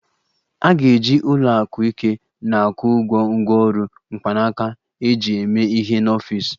A ga-eji ụlọ akụ ike na-akwụ ụgwọ ngwaọrụ mkpanaka eji eme ihe n'ọfịs